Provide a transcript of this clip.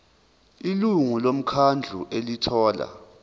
ilungu lomkhandlu elithola